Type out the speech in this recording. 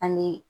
An bɛ